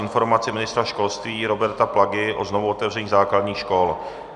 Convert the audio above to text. Informace ministra školství Roberta Plagy o znovuotevření základních škol